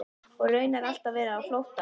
Og raunar alltaf verið á flótta.